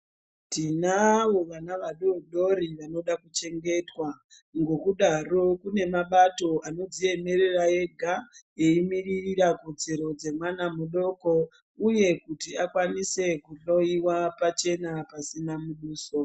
Tinavo vana vadodori vanoda kuchengetwa ngokudaro kune mabato anodziemerera ega eimiririra kodzero dzemwana mudoko uye kuti akwanise kunhloyiwa pachena pasina muduso.